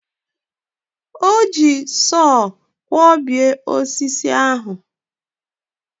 O ji sọọ kwọbie osisi ahụ.